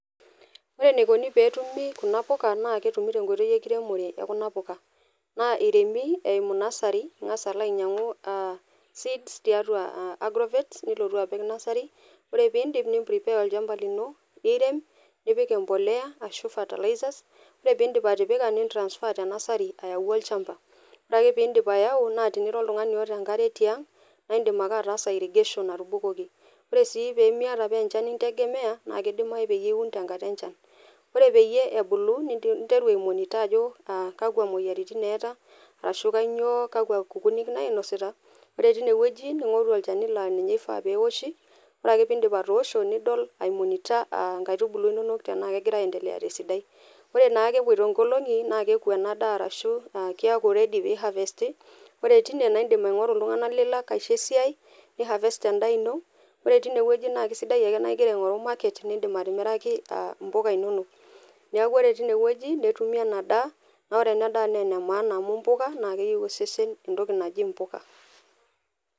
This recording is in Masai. Ore enaikoni tenetumi kuna puka naa ketumi tenkoitoi enkiremore e kuna puka . Naa iremi eimu nursery , ingas alo ainyiangu seeds tiatua agrovet , nilotu apik nursery [cs. Ore piidip , nimprepare olchamba lino , nirem , nipik empolea ashua fertilizers , ore piidip atipika , nitransfer tenursery ayau olchamba . Ore ake pindip ayau naa tenira oltungani oota enkare tiang naa indim ake ataasa irrigation atubukoki. Ore sii pemiata paa enchan integemea , naa kidimayu piun tenkata enchan . Ore peyie ebulu , ninteru aimonitor ajo kakwa moyiaritin eeta, ashu nyoo kakwa kukunik nainosita. Ore tine wueji ningoru olchani naa ninye loifaa peoshi, ore ake pindip atoosho, nidol aimonitor nkaitubulu inonok tenaa kegira aendelea tesidai. Ore naake epoito nkolongi naa keku ena daa arashu keaku ready piharvesti . Ore tine naa indim aingoru iltunganak lilak aisho esiai , niharvest endaa ino, ore tine wueji naa isidai ake naa ingira aingoru market nindim atimiraki a mpuka inonok. Niaku ore tine wueji , netumi ena daa , naa ore ena daa naa ene maana amu mpuka naa keyieu osesen entoki naji impuka.